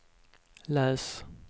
läs